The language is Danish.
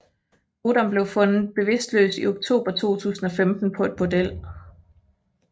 Odom blev fundet bevidstløs i oktober 2015 på et bordel